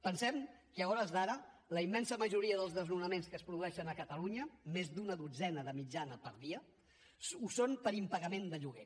pensem que a hores d’ara la immensa majoria dels desnonaments que es produeixen a catalunya més d’una dotzena de mitjana per dia ho són per impagament de lloguer